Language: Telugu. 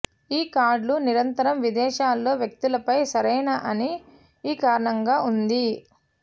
ఈ కార్డులు నిరంతరం విదేశాల్లో వ్యక్తులపై సరైన అని ఈ కారణంగా ఉంది